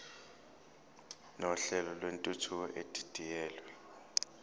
nohlelo lwentuthuko edidiyelwe